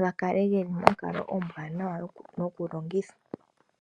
gakale geli monkalo ombwaanawa yokulongithwa.